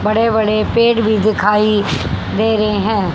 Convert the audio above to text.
बड़े बड़े पेड़ भी दिखाई दे रहे है।